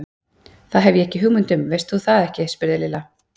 Það hef ég ekki hugmynd um, veist þú það ekki? spurði Lilla.